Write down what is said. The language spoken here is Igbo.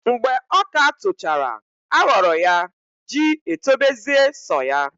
Mgbe ọka tochara aghọrọ ya ji etobezie sọ ya.